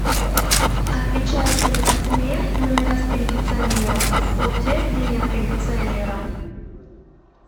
отличаются ли по цене номера с кондиционером от тех где нет кондиционера